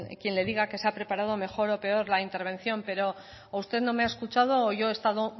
quien le diga que se ha preparado mejor o peor la intervención pero o usted no me ha escuchado o yo he estado